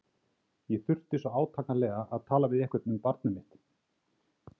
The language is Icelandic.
Ég þurfti svo átakanlega að tala við einhvern um barnið mitt.